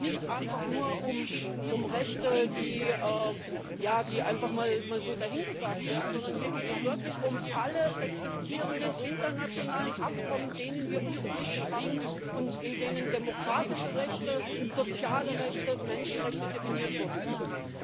Hier geht es nicht einfach nur um Rechte, die einfach mal so dahingesagt werden, sondern hier geht es wirklich um alle existierenden internationalen Abkommen, denen wir uns verpflichtet hatten und in denen demokratische Rechte, soziale Rechte und Menschenrechte definiert worden sind.